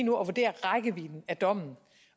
at vurdere rækkevidden af dommen